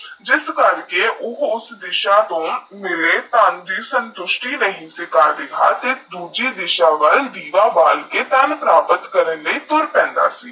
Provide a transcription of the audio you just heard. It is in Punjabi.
ਜੇਸ ਕਰਕੇ ਓਹ ਯੂਐਸਐਸ ਦੀਸਾ ਤੋਹ ਮੇਰੇ ਧਨ ਦੀ ਸੰਤੁਸਤੀ ਨ੍ਹੀ ਸੀ ਦੁੱਜੀ ਦੀਸਾ ਵਾਲ ਦੀਵਾ ਬਾਲ ਕੇ ਧਨ ਪ੍ਰਾਪਤ ਕਰਨ ਵੱਲ ਤੁਰ ਪਾਂਡਾ ਸੀ